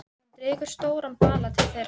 Hann dregur stóran bala til þeirra.